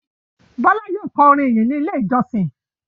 Bọ́lá yóò kọ orin ìyìn ní Ilé-ìjọsìn.